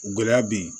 Gɛlɛya bɛ yen